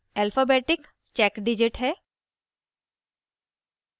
आखिरी character alphabetic check digit है